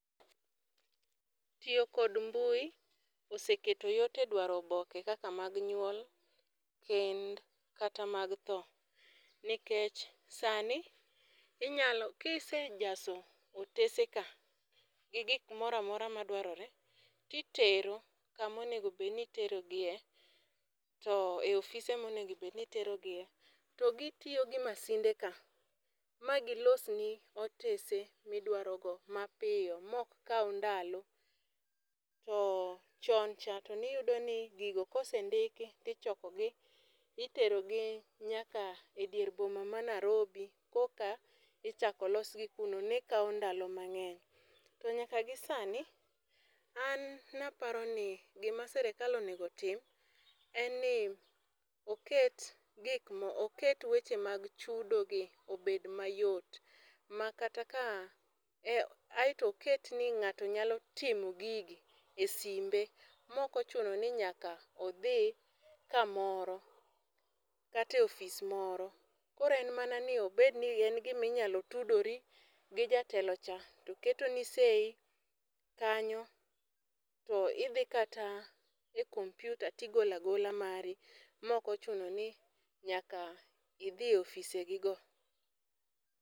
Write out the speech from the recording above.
Tiyo kod mbui, oseketo yot e dwaro oboke kaka mag nyuol, kend, kata mag tho. Nikech sani inyalo, kisejaso oteseka, gi gik moramora madwarore, to itero kama onego bed ni itero gie. To e ofise monego bed ni iterogie, to gitiyo gi masinde ka, ma gilosni otese ma idwarogo mapiyo, ma ok kau ndalo. To chon cha ne iyudo ni gigo kosendiki, to ichokogi, to iterogi nyaka e dier boma ma Nairobi koka ichako los gi kuno. Ne kawo ndalo mangény. To nyaka gi sani, an naparoni, gima sirkal onego otim en ni, oket, oket weche mag chudogi obed mayot. Ma kata ka, e aeto oketni ngáto nyalo timo gigi e simbe, ma ok ochuno ni nyaka odhi kamoro, kata e office moro. Koro en mana ni obed ni en gima inyalo tudori gi jatelo cha to keto seyi kanyo, to idhi kata e computer to igolo agola mari ma ok ochuno ni nyaka idhi e offisegi go.